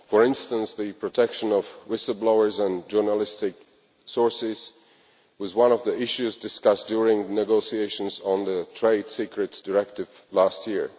for instance, the protection of whistle blowers and journalistic sources was one of the issues discussed during the negotiations on the Trade Secrets Directive last year.